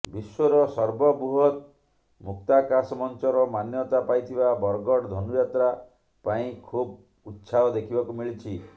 ବିଶ୍ୱର ସର୍ବବୃହତ୍ ମୁକ୍ତାକାଶ ମଂଚର ମାନ୍ୟତା ପାଇଥିବା ବରଗଡ଼ ଧନୁଯାତ୍ରା ପାଇଁ ଖୁବ ଉତ୍ସାହ ଦେଖିବାକୁ ମିଳିଛି